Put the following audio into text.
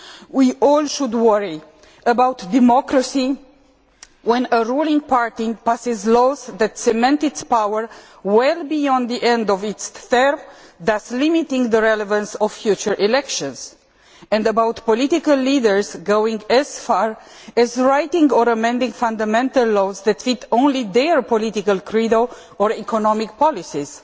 We should all worry about democracy when a ruling party passes laws that cement its power well beyond the end of its term and limits the relevance of future elections, and about political leaders going as far as writing or amending fundamental laws that fit only their political credo or economic policies.